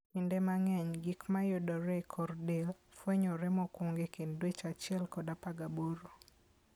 Kinde mang'eny, gik mayudo e kor del, fwenyore mokwongo e kind dweche 1 kod 18.